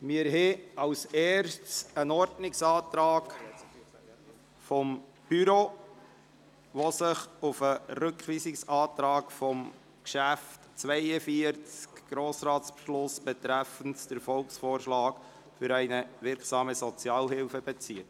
Wir haben als Erstes einen Ordnungsantrag des Büros, der sich auf den Rückweisungsantrag zum Traktandum 42 «Grossratsbeschluss betreffend den Volksvorschlag ‹Für eine wirksame Sozialhilfe!›» bezieht.